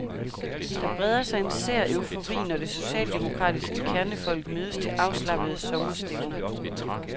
Der breder sig en sær eufori, når det socialdemokratiske kernefolk mødes til afslappede sommerstævner.